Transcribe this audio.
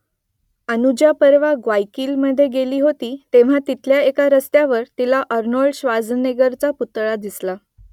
अनुजा परवा ग्वायाकिलमध्ये गेली होती तेव्हा तिथल्या एका रस्त्यावर तिला आर्नोल्ड श्वार्झनेगरचा पुतळा दिसला